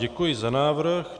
Děkuji za návrh.